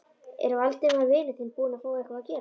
Er Valdimar vinur þinn búinn að fá eitthvað að gera?